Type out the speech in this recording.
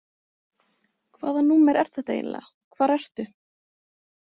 Hvaða númer er þetta eiginlega, hvar ertu?